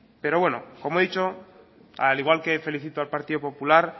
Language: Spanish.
pero bueno como he dicho al igual que felicito al partido popular